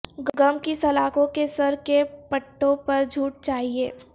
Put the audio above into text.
غم کی سلاخوں کے سر کے پٹھوں پر جھوٹ چاہئے